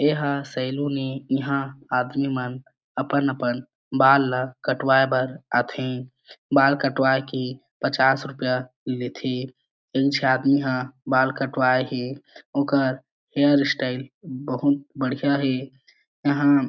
एहा सेलून ए इहा आदमी मन अपन-अपन बाल ला कटवाए बर आथे बाल कटवाए के पच्चास रूपया लेथे इन छे आदमी ह बाल कटवाए हे ओकर हेयर स्टाइल बहुत बढ़िया हे यहां--